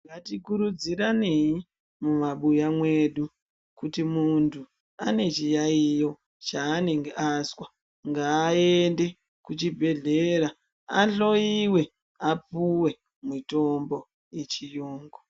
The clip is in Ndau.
Ngatikurudziranei mumabuya mwedu kuti muntu ane chiyayiyo chaanenge azwa ngaende kuchibhedhlera ahloyiwe apuwe mitombo echiyungu